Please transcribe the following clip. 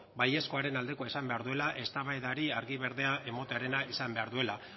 baiezkoaren aldekoa izan behar duela eztabaidari argi berdea ematearena izan behar duela